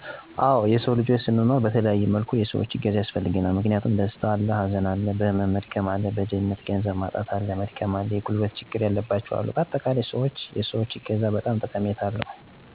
አወ የሰዉ ልጅ ስንኖር በተለያየ መልኩ የሰዎች እገዛ ያስፈልገናል። ምክንያቱም፦ ደስታ አለ፣ ሀዘን አለ፣ በህመም መድከም አለ፣ በድህነት(ገንዘብ) በማጣት መድከም አለ፣ የጉልበት ችግር ያለባቸዉ አሉ በአጠቃላይ, ሰዎች የሰዎች እገዛ በጣም ጠቀሜታ አለዉ። እኔ ለምሳሌ፦ ገንዘብ እያላቸዉ የጉልበት ችግረኛ የሆኑ ሰወችን (ልጅ ወልደዉ እረዳት ሲያሻቸዉ ችግራቸዉን በመረዳት አግዣለሁ)።ሌላም, በጭንቀት ዉስጥ ሆነዉ በሀዘን የተሞሉትን ሰዎች የምችለዉን የተስፋ ቃል(የሚያረጋጉ ቃላትን በመናገር በማረጋጋት ረድቻለሁ)።